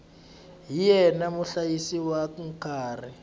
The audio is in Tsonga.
hi yena muhlayisi wa nkarhi